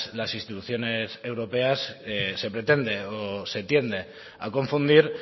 las instituciones europeas se pretende o se tiende a confundir